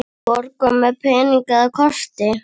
Borga með pening eða korti?